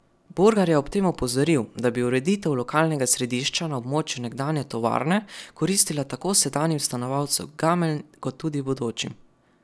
Burgar je ob tem opozoril, da bi ureditev lokalnega središča na območju nekdanje tovarne koristila tako sedanjim stanovalcem Gameljn kot tudi bodočim.